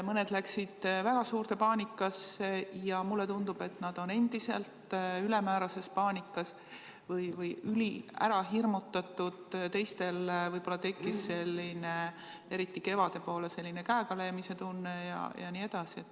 Mõned läksid väga suurde paanikasse – ja mulle tundub, et nad on endiselt ülemäärases paanikas või üliärahirmutatud –, teistel võib-olla tekkis, eriti kevade poole, selline käegalöömise tunne.